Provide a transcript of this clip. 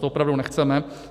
To opravdu nechceme.